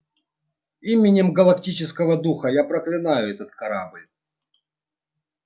именем галактического духа я проклинаю этот корабль